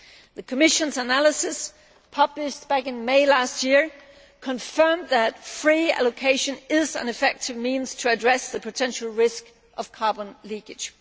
The Commission's analysis published back in May last year confirmed that free allocation is an effective means to address the potential risk of carbon leakage.